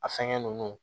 A fɛngɛ ninnu